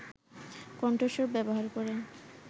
কণ্ঠস্বর ব্যবহার করে